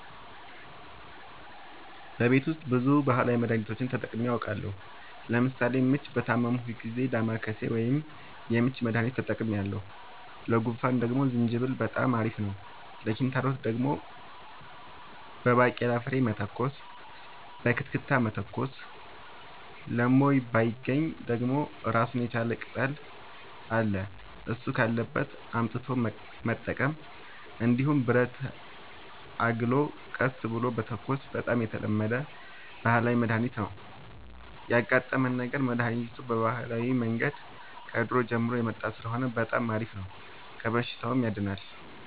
በቤት ውስጥ ብዙ ባህላዊ መድሀኒቶችን ተጠቅሜ አውቃለሁ ለምሳሌ ምች በታመምሁ ጊዜ ዳማከሴ ወይም የምች መድሀኒት ተጠቅሜያለሁ ለጉንፋን ደግሞ ዝንጅብል በጣም አሪፍ ነው ለኪንታሮት ደግሞ በባቄላ ፍሬ መተኮስ በክትክታ መተኮስ ለሞይባገኝ ደግሞ እራሱን የቻለ ቅጠል አለ እሱ ካለበት አምጥቶ መጠቀም እንዲሁም ብረትን አግሎ ቀስ ብሎ መተኮስ በጣም የተለመደ ባህላዊ መድሀኒት ነው ያጋጠመን ነገር መድሀኒቱ በባህላዊ መንገድ ከድሮ ጀምሮ የመጣ ስለሆነ በጣም አሪፍ ነው ከበሽታውም ያድናል።